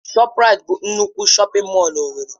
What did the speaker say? ShọpRait bụ nnukwu shọpin mọll na owerri.